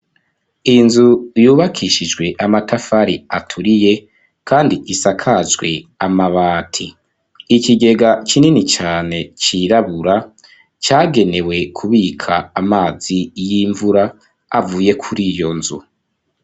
Inzu yubakishijwe amatafari aturiye, kandi gisakajwe amabati; ikigega kinini cane cirabura cagenewe kubika amazi y'imvura avuye kuri iyo nzu.